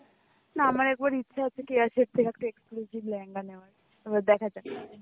না আমার একবার ইচ্ছা আছে কি কেয়া শেঠ থেকে একটা exclusive লেহেঙ্গা নেওয়ার এবার দেখা যাক.